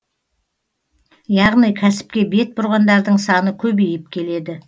яғни кәсіпке бет бұрғандардың саны көбейіп келеді